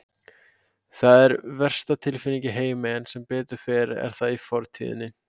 Það er versta tilfinning í heimi en sem betur fer er það í fortíðinni.